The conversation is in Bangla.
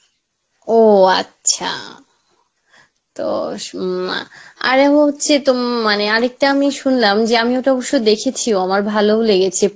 ও আচ্ছা, তো সু উম মা আরে হচ্ছে তম মানে আরেকটা আমি শুনলাম যে আমি ওটা অবশ্য দেখেছি আমার ভালোও লেগেছে